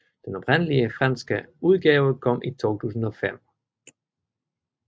Den oprindelige franske udgave kom i 2005